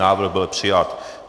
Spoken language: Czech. Návrh byl přijat.